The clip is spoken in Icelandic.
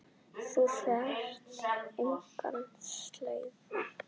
Hún þurfti enga slaufu.